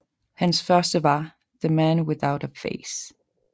Hans første var The Man Without A Face